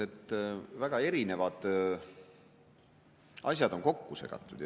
… et väga erinevad asjad on kokku segatud.